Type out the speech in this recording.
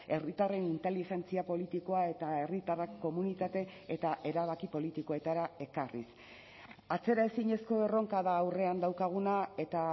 herritarren inteligentzia politikoa eta herritarrak komunitate eta erabaki politikoetara ekarriz atzeraezinezko erronka da aurrean daukaguna eta